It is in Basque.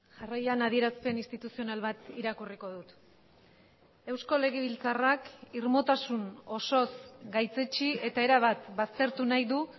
jarraian adierazpen instituzional bat irakurriko dut eusko legebiltzarrak irmotasun osoz gaitzetsi eta erabat baztertu nahi du